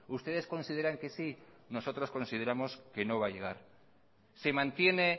ustedes consideran que sí nosotros consideramos que no va a llegar se mantiene